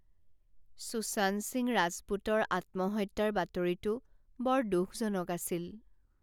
সুশান্ত সিং ৰাজপুতৰ আত্মহত্যাৰ বাতৰিটো বৰ দুখজনক আছিল।